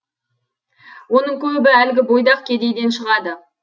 оның көбі әлгі бойдақ кедейден шығады